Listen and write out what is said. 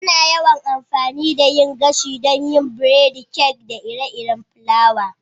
Ana yawan amfani da yin gashi don yin biredi, kek, da ire-iren kayan fulawa.